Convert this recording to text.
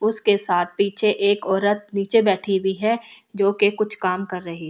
उसके साथ पीछे एक औरत नीचे बैठी हुई है जो कि कुछ काम कर रही --